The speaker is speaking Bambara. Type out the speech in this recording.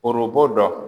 Forobo dɔ